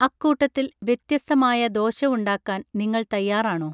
അക്കൂട്ടത്തിൽ വ്യത്യസ്തമായ ദോശ ഉണ്ടാക്കാൻ നിങ്ങൾ തയാറാണൊ